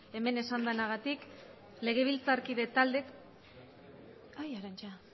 hemen esan denagatik legebiltzarkide bai arantza